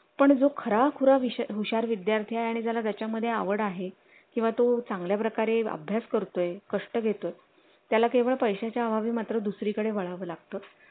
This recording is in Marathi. पण जो खरा खुरा हुशार विद्यार्थी आणि ज्याच्या मध्ये आवड आहे किंवा तो चांगल्या प्रकारे अभ्यास करतोय कष्ट घेतो त्याला केवळ पैशांच्या अभावी मात्र दुसरीकडे वळ वावा लागतो